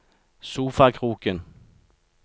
sofakroken